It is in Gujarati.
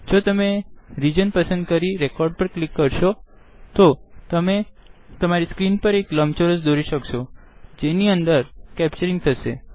જો તમે રીજન પસંદ કરી રેકોડ પર ક્લિક કરશો તો તમે તમરી સ્ક્રીન પર એક લંબ ચોરસ દોરી શકશોજેની અંદર કેપ્ચરીંગ થશે